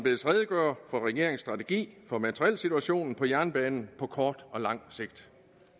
redegøre for regeringens strategi for materielsituationen på jernbanen på kort og lang sigt